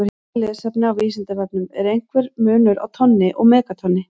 Frekara lesefni á Vísindavefnum: Er einhver munur á tonni og megatonni?